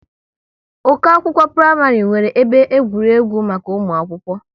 Ụkọ akwụkwọ praịmarị nwere ebe egwuregwu maka ụmụ akwụkwọ